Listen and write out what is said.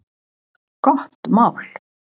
Gott mál!